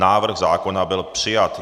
Návrh zákona byl přijat.